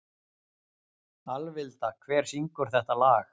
Alvilda, hver syngur þetta lag?